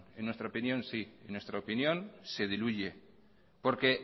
en nuestra opinión sí en nuestra opinión se diluye porque